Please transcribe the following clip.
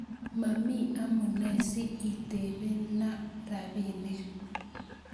Mami amune si itepena rapinik